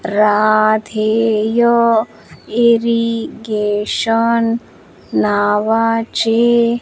Radheya irrigation नावाचे --